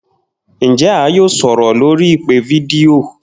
Njẹ a yoo sọrọ lori ipe fidio?